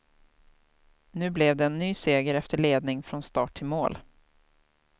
Nu blev det en ny seger efter ledning från start till mål.